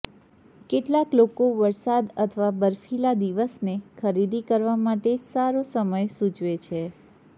કેટલાક લોકો વરસાદ અથવા બરફીલા દિવસને ખરીદી કરવા માટે સારો સમય સૂચવે છે